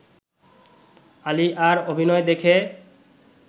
আলিয়ার অভিনয় দেখে